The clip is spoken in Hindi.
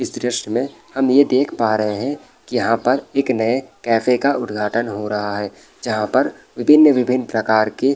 इस द्रश्य में हम ये देख पा रहे हैं की यहाँ पर एक नए कैफ़े का उद्घाटन हो रहा है जहाँ पर विभिन्न-विभिन्न प्रकार के --